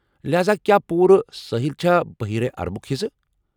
لہاذا، کیٛاہ پوٗرٕ سٲحِل چھا بحیر عربُک حصہٕ ؟